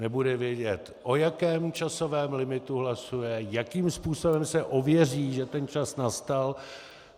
Nebude vědět, o jakém časovém limitu hlasuje, jakým způsobem se ověří, že ten čas nastal.